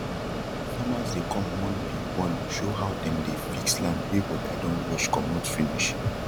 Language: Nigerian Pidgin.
farmers dey com one be one show how dem dey fix land wey wata don wash comot finish